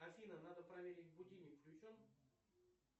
афина надо проверить будильник включен